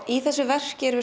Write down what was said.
í þessu verki erum